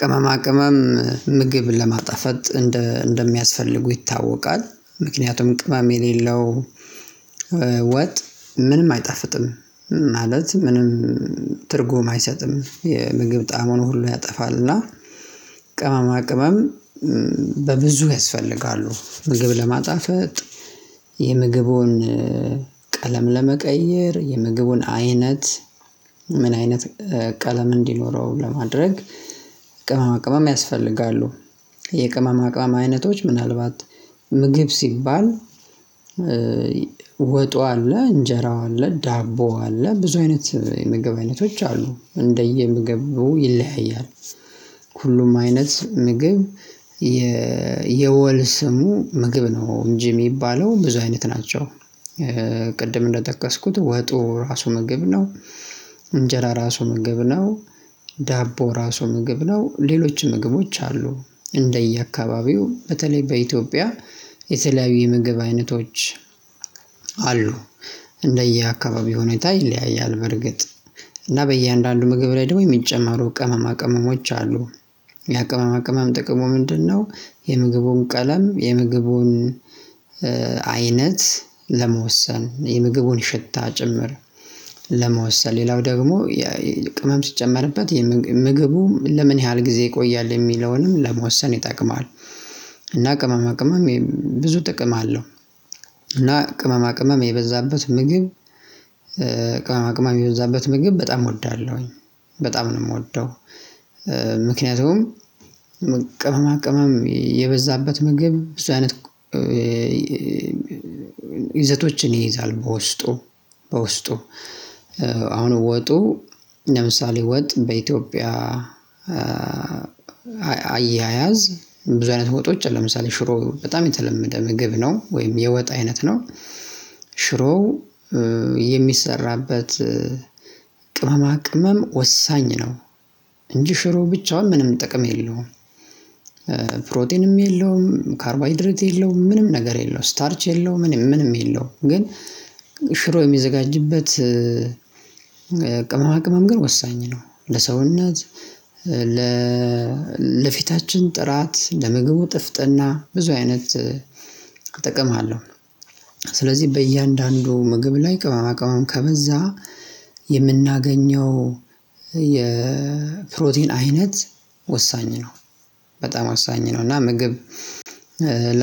ቅመማ ቅመም ምግብን ለማጣፈጥ እንደ እንደሚያስፈልጉ ይታወቃል ምክንያቱም ቅመም የሌለው ወጥ ምንም አይጠፍጥም ማለት ምንም ትርጉሙን አይሰጥም የምግብ ጣሙን ሁሉ ያጠፋልና። ቅመማ ቅመም በብዙ ያስፈልጋሉ ምግብ ለማጣፈጥ። የምግቡን ቀለም ለመቀየር የምግቡን አይነት ምን አይነት ቀለም እንዲኖረው ለማድረግ ቅመማ ያስፈልጋሉ። የቅመማ ቅመማ አይነቶች ምናልባት ምግብ ሲባል ወጡ አለ እንጀራው አለ ዳቦው አለ ብዙ አይነት የምግብ አይነቶች አሉ እንደየ ምግብ ይለያያል። ሁሉም አይነት ምግብ የወል ስሙ ምግብ ነው እንጂ የሚባለው ብዙ አይነት ናቸው። ቅድም እንደጠቀስኩት ወጡ ራሱ ምግብ ነው። እንጀራ ራሱ ምግብ ነው። ዳቦ ራሱ ምግብ ነው ሌሎች ምግቦች አሉ። እንደየአካባቢው በተለይ በኢትዮጵያ የተለያዩ የምግብ አይነቶች አሉ። እንደየአካባቢው ሁኔታ ይለያያል በርግጥ እና በእያንዳንዱ ምግብ ላይ ደግሞ የሚጨመሩ ቅመማ ቅመሞች አሉ። ያ ቅመማ ቅመም ጥቅሙ ምንድነው? የምግቡን ቀለም የምግቡን አይነት ለመወሰን የምግቡን ሽታ ጭምር ለመወሰን ሌላው ደግሞ ቅመም ሲጨመርበት ምግቡ ለምን ያህል ጊዜ ይቆያል የሚለውንም ለመወሰን ይጠቅማል። እና ቅመማ ቅመም ብዙ ጥቅም አለው። እና ቅመማ ቅመም የበዛበት ምግብ ቅመማ ቅመም የበዛበት ምግብ በጣም እወዳለሁኝ በጣም ነው የምወደው። ምክንያቱም ቅመማ ቅመም የበዛበት ምግብ ብዙ አይነት ይዘቶችን ይይዛል በውስጡ። በውስጡ አሁን ወጡ ለምሳሌ ወጥ በኢትዮጵያ አያያዝ ብዙ አይነት ወጦች አሉ ለምሳሌ ሽሮ በጣም የተለመደ ምግብ ነው ወይም የወጣ አይነት ነው። ሽሮው የሚሰራበት ቅመማ ቅመም ወሳኝ ነው። እንጂ ሽሮ ብቻውን ምንም ጥቅም የለውም። ፕሮቲንም የለውም ካርቦ አይድሬት የለውም ምንም ነገር የለውም ስታርች የለውም ምንም ምንም የለውም ግን። ሽሮ የሚዘጋጅበት ቅመማ ቅመም ግን ወሳኝ ነው። ለሰውነት ለፊት ለፊታችን ጥራት ለምግቡ ጥፍጥና ብዙ አይነት እጠቀምሃለሁ። ስለዚህ በእያንዳንዱ ምግብ ላይ ቅመማ ቅመም ከበዛ የምናገኘው የፕሮቲን አይነት ወሳኝ ነው። በጣም ወሳኝ ነው እና ምግብ